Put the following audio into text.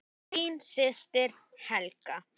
Þín systir, Helga.